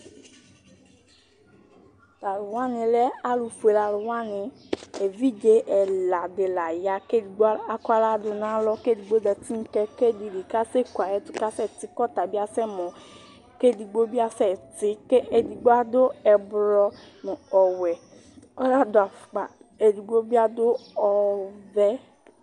Tʋ alʋ wanɩ lɛ alʋ fuele nɩ Evidze ɛla dinɩ la aya, kʋ edigbo dɩ akɔ aɣla dʋ nʋ alɔ Esigbo zǝtɩ nʋ kɛkɛ dɩ li, kʋ asekʋ ayʋ ɛtʋ, kʋ asɛtɩ kasɛmɔ Edigbo bɩ asɛtɩ Edigbo adʋ ɛblɔ nʋ ɔwɛ, ɔnadʋ afʋkpa Edigbo bɩ adʋ ɔvɛ